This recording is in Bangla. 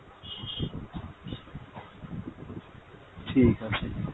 ঠিক আছে।